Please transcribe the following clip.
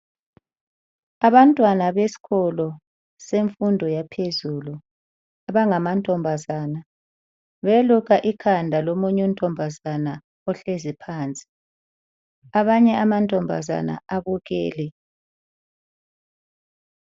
Abantwana besikolo semfundo yaphezulu abangamantombazana beluka ikhanda lomunye untombazana ohlezi phansi. Abanye amantombazana abukele.